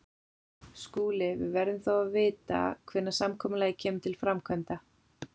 SKÚLI: Við verðum þó að vita hvenær samkomulagið kemur til framkvæmda.